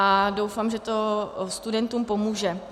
A doufám, že to studentům pomůže.